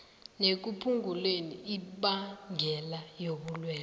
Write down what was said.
nekuphunguleni imbangela yobulwelwe